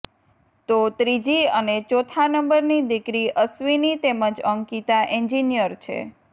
તો ત્રીજી અને ચોથા નંબરની દીકરી અશ્વિની તેમજ અંકિતા એન્જિનિયર છે